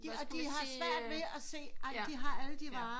Og de har svært ved at se ej de har alle de varer